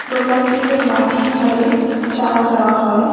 দোকানটিতে মাটির ভাড়ে চা দেওয়া হয়।